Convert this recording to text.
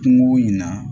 Kungo in na